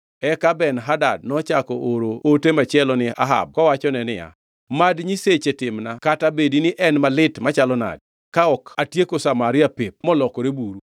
Eka Ben-Hadad nochako ooro ote machielo ni Ahab kowachone niya, “Mad nyiseche timna kata bedi ni en malit machalo nade, ka ok otieko Samaria pep molokore buru.”